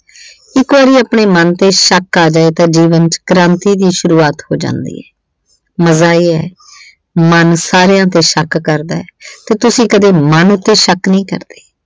ਇੱਕ ਵਾਰੀ ਆਪਣੇ ਮਨ ਤੇ ਸ਼ੱਕ ਕਰਦੇ ਓ ਤਾਂ ਜੀਵਨ ਵਿੱਚ ਕ੍ਰਾਂਤੀ ਦੀ ਸ਼ੁਰੂਆਤ ਹੋ ਜਾਂਦੀ ਏ। ਮਨ ਸਾਰਿਆਂ ਤੇ ਸ਼ੱਕ ਕਰਦਾ ਏ ਤੇ ਤੁਸੀਂ ਕਦੇ ਮਨ ਤੇ ਸ਼ੱਕ ਨਹੀਂ ਕਰਦੇ।